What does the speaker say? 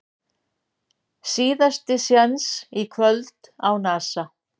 Síðasti séns í kvöld á Nasa